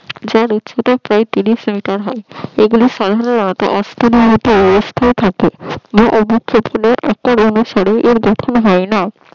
যার উচ্চতা ত্রিশ মিটার হয় এগুলোর সাধারণত অনুসারে এর গঠন হয় না